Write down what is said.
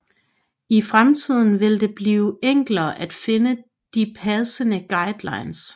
I fremtiden vil det blive enklere at finde de passende guidelines